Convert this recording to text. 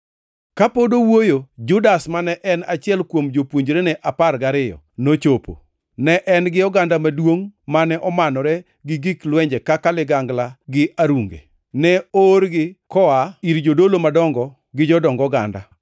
Kane pod owuoyo, Judas, mane en achiel kuom jopuonjrene apar gariyo, nochopo. Ne en gi oganda maduongʼ mane omanore gi gik lwenje kaka ligangla gi arunge. Ne oorgi koa ir jodolo madongo gi jodong oganda.